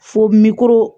Fo miliro